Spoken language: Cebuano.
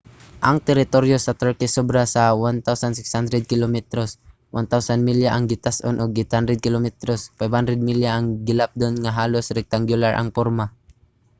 ang teritoryo sa turkey sobra sa 1,600 kilometros 1000 milya ang gitas-on ug 800 kilometros 500 milya ang gilapdon nga halos rectangular ang porma